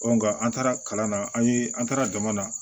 an taara kalan na an ye an taara jama na